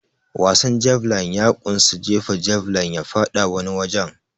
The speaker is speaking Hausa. Wasan javeline ya kunsa jefa javeline ya faɗi wani wajen.